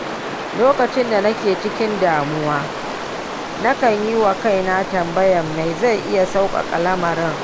Lokacin da nake cikin damuwa, nakan yi wa kaina tambaya me zai iya sauƙaƙa lamarin.